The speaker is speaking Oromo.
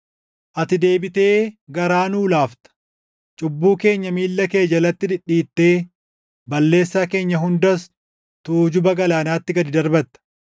Ati deebitee garaa nuu laafta; cubbuu keenya miilla kee jalatti dhidhiittee balleessaa keenya hundas tuujuba galaanaatti // gad darbatta.